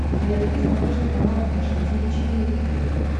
найди на смотрешке канал фэшн ти ви четыре ка